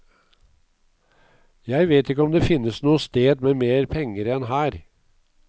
Jeg vet ikke om det finnes noe sted med mer penger enn her.